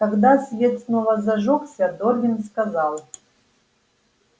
когда свет снова зажёгся дорвин сказал